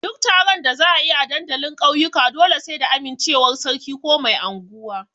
Duk taron da za a yi a dandalin ƙauyuka dole sai da amincewar sarki ko mai anguwa.